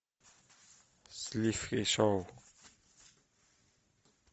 сливки шоу